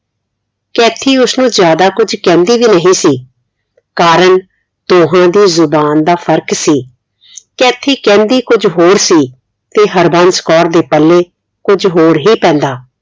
Kathy ਉਸ ਨੂੰ ਜਿਆਦਾ ਕੁਝ ਕਹਿੰਦੀ ਵੀ ਨਹੀਂ ਸੀ ਕਾਰਣ ਦੋਹਾਂ ਦੀ ਜ਼ੁਬਾਨ ਦਾ ਫਰਕ ਸੀ ਕੈਥੀ ਕਹਿੰਦੀ ਕੁਝ ਹੋਰ ਸੀ ਤੇ ਹਰਬੰਸ ਕੌਰ ਦੇ ਪੱਲੇ ਕੁਝ ਹੋਰ ਹੀ ਪੈਂਦਾ